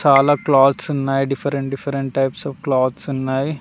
చాలా క్లాత్స్ ఉన్నాయి different different types of clothes ఉన్నాయి.